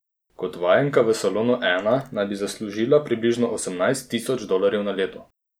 Kot vajenka v salonu Ena naj bi zaslužila približno osemnajst tisoč dolarjev na leto.